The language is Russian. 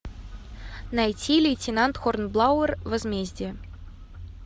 найти лейтенант хорнблауэр возмездие